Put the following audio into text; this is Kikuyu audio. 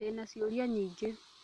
Ndĩna ciũria nyingĩ